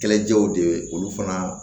Kɛlɛjɛw de ye olu fana